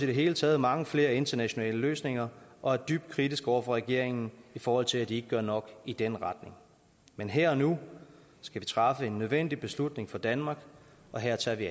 det hele taget mange flere internationale løsninger og er dybt kritiske over for regeringen i forhold til at de ikke gør nok i den retning men her og nu skal vi træffe en nødvendig beslutning for danmark og her tager vi